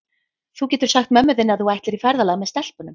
Þú getur sagt mömmu þinni að þú ætlir í ferðalag með stelpunum.